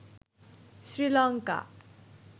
Sri Lanka